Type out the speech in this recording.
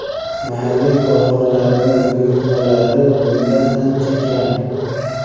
mahalliy korxonalarimiz buyurtmalari bundan ancha kam.